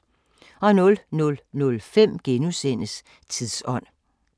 00:05: Tidsånd *